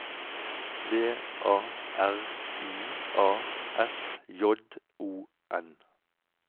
V A R I A S J O N